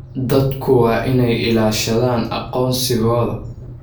Dadku waa inay ilaashadaan aqoonsigooda.